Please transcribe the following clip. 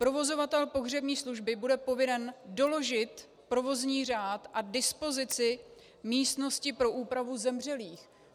Provozovatel pohřební služby bude povinen doložit provozní řád a dispozici místnosti pro úpravu zemřelých.